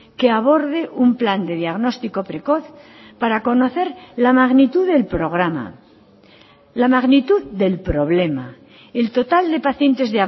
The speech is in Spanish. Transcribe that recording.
que aborde un plan de diagnóstico precoz para conocer la magnitud del programa la magnitud del problema el total de pacientes